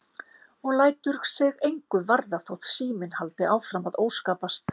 Og lætur sig engu varða þótt síminn haldi áfram að óskapast.